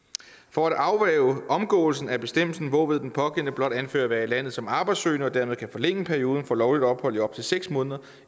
for at afværge en omgåelse af bestemmelsen hvorved den pågældende blot anfører at være i landet som arbejdssøgende og dermed kan forlænge perioden for lovligt ophold i op til seks måneder